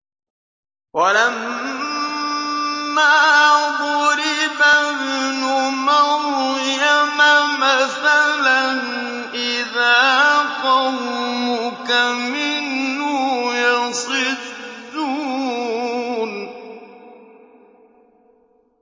۞ وَلَمَّا ضُرِبَ ابْنُ مَرْيَمَ مَثَلًا إِذَا قَوْمُكَ مِنْهُ يَصِدُّونَ